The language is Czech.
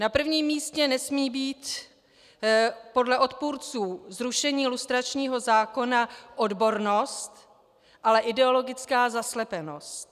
Na prvním místě nesmí být podle odpůrců zrušení lustračního zákona odbornost, ale ideologická zaslepenost.